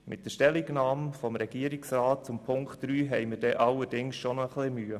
Mit der Stellungnahme des Regierungsrats zu Punkt 3 haben wir allerdings etwas Mühe.